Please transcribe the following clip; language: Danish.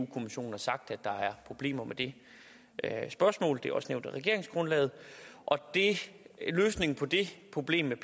kommissionen har sagt at der er problemer med det spørgsmål det er også nævnt i regeringsgrundlaget og løsningen på det problem